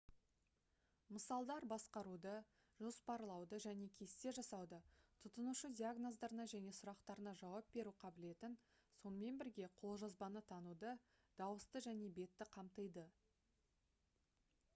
мысалдар басқаруды жоспарлауды және кесте жасауды тұтынушы диагноздарына және сұрақтарына жауап беру қабілетін сонымен бірге қолжазбаны тануды дауысты және бетті қамтиды